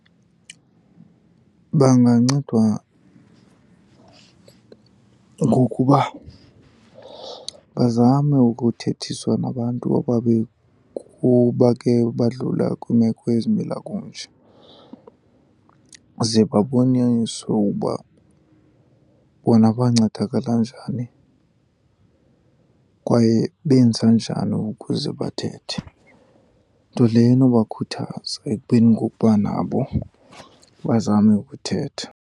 Bangancedwa ngokuba bazame ukuthethiswa nabantu obabe kuba ke badlula kwiimeko ezimila kunje, ze baboniswe uba bona bancedakala njani kwaye benza njani ukuze bathethe. Nto leyo enobakhuthaza ekubeni ngokuba nabo bazame ukuthetha.